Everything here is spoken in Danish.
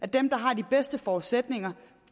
der har de bedste forudsætninger